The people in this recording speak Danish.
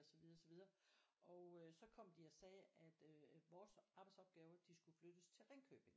Og så videre så videre og øh så kom de og sagde at øh vores arbejdsopgaver de skulle flyttes til Ringkøbing